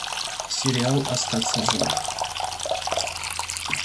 сериал остаться в живых